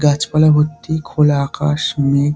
গাছপালা ভর্তি খোলা আকাশ মেঘ --